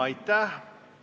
Aitäh!